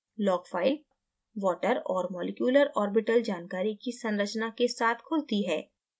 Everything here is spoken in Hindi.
log file water और मॉलिक्यूलर orbital जानकारी की संरचना के साथ खुलती है